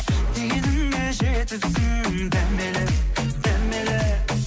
дегеніңе жетіпсің дәмелі дәмелі